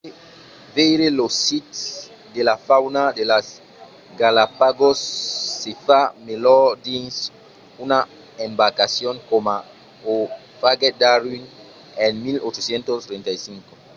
veire los sits e la fauna de las galápagos se fa melhor dins una embarcacion coma o faguèt darwin en 1835